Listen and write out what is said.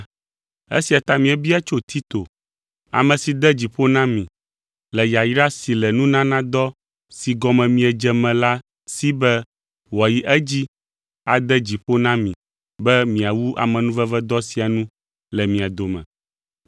Esia ta míebia tso Tito, ame si de dzi ƒo na mi le yayra si le nunanadɔ si gɔme miedze me la si be wòayi edzi ade dzi ƒo na mi be miawu amenuvedɔ sia nu le mia dome.